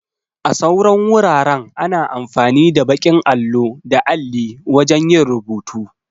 A sauran wuraren ana amfani da baƙin allo da alli wajan yin rubutu